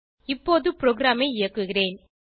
இப்போது ப்ரோகிராமை இயக்குகிறேன்